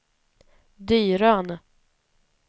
Dyrön